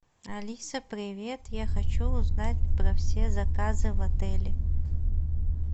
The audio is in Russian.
алиса привет я хочу узнать про все заказы в отеле